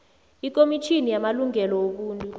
ikomitjhini yamalungelo wobuntu